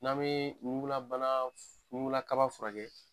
N'an bee ɲugulabana f ɲugula kaba furakɛ